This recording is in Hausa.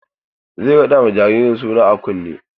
Zai raɗa ma jaririn suna a kunne.